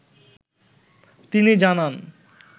তিনি জানান